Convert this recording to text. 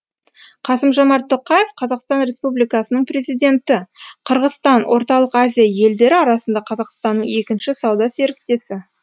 қасым жомарт тоқаев қазақстан республикасының президенті қырғызстан орталық азия елдері арасында қазақстанның екінші сауда серіктесі